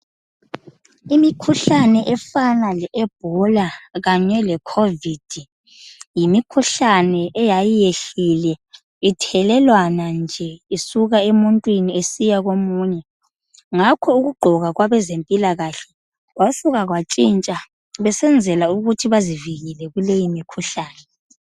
Imikhuhlane efana le ebola kanye leCOVID yimikhuhlane eyayiyehlile ithelelwana nje isuka emuntwini isiya komunye. Ngakho ukugqoka kwabezempilakahle kwasuka kwatshintsha besenzela ukuthi bazivikele kuleyimikhuhlane.